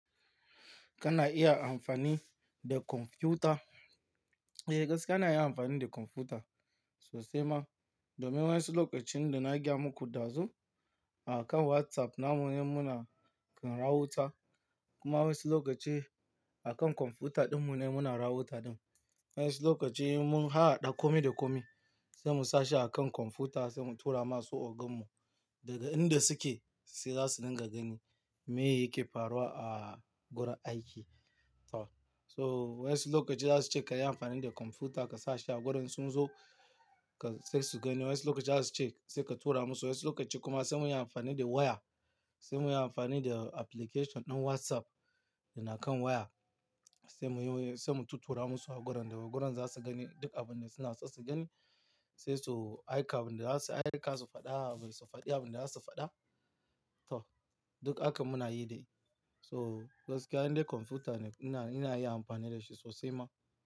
Kana iya amfani da kwamfuta. Eh, gaskiya na iya amfani da kwamfuta sosai ma. Domin wa'insu lokacin da na gaya muku ɗazu akan WhatsApp namu ne muna kan raota. Kuma wasu lokaci akan kwamfuta ɗinmu ne muna raota ɗin. Wa'insu lokaci in mun hahhaɗa kome da kome sai mu sashi akan kwamfuta sai mu tura masu ogan mu daga inda suke sai za su dinga gani me yake faruwa a gurin aiki. To so wa'insu lokaci za su ce ka yi amfani da kwamfuta ka sashi a gurin sun zo ka sai su gani. Wa'insu lokaci za su ce sai ka tura musu. Wa'insu lokaci kuma sai mu yi amfani da waya, sai mu yi amfani da application ɗin WhatsApp da na kan waya sai mu yi, sai mu tattura musu a gurin da gurin za su gani duk abin da suna so su gani. Sai su aika abin da za su, aika su faɗa abin su faɗi, abin da za su faɗa. To duk hakan muna yi dai. So gaskiya indai kwamfuta ne ina, ina iya amfani da shi sosai ma.